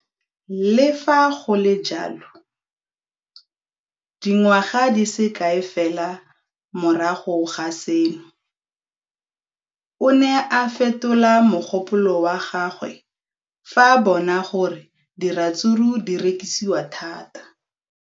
Le fa go le jalo, dingwaga di se kae fela morago ga seno, o ne a fetola mogopolo wa gagwe fa a bona gore diratsuru di rekisiwa thata.